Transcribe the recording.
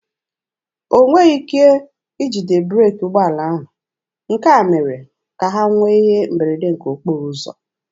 O nweghị ike ijide breeki ụgbọala ahụ, nke a mere ka ha nwee ihe mberede nke okporo ụzọ.